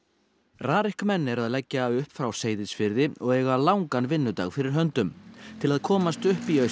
RARIK menn eru að leggja upp frá Seyðisfirði og eiga langan vinnudag fyrir höndum til að komast upp í